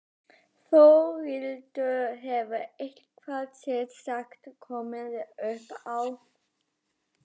Þórhildur: Hefur eitthvað sérstakt komið upp á?